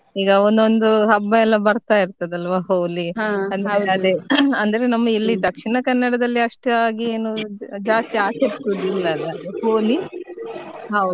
ಈಗ ಒಂದೊಂದು ಹಬ್ಬ ಎಲ್ಲ ಬರ್ತಾ ಇರ್ತದಲ್ಲ Holi ಅಂದ್ರೆ ಅದೇ ಅಂದ್ರೆ ನಮ್ಮ ಇಲ್ಲಿ ನಮ್ಮ Dakshina Kannada ದಲ್ಲಿ ಅಷ್ಟಾಗಿ ಏನು ಜಾಸ್ತಿ ಆಚರಿಸುದಿಲ್ಲ ಅಲ್ಲ Holi ಹೌದು.